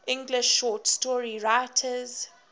english short story writers